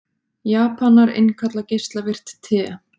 Japanar innkalla geislavirkt te